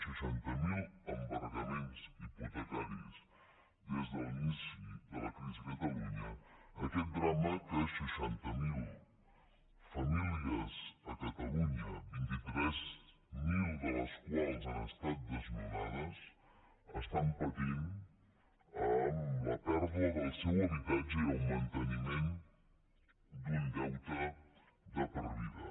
seixanta miler embargaments hipotecaris des de l’inici de la crisi a catalunya aquest drama que seixanta miler famílies a catalunya vint tres mil de les quals han estat desnonades estan patint amb la pèrdua del seu habitatge i el manteniment d’un deute de per vida